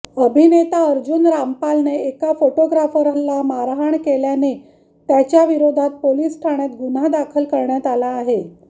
अभिनेता अर्जुन रामपालने एका फोटोग्राफरला मारहाण केल्याने त्याच्याविरोधात पोलीस ठाण्यात गुन्हा दाखल करण्यात आला आहे